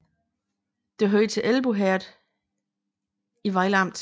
Det hørte til Elbo Herred i Vejle Amt